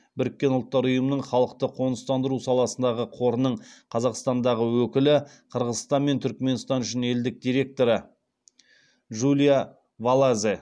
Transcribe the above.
біріккен ұлттар ұйымының халықты қоныстандыру саласындағы қорының қазақстандағы өкілі қырғызстан мен түрікменстан үшін елдік директоры джулия валазе